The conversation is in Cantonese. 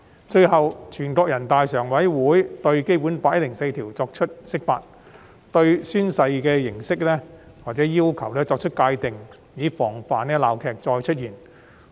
最後，全國人民代表大會常務委員會對《基本法》第一百零四條作出釋法，界定宣誓形式或要求，防止鬧劇再次發生。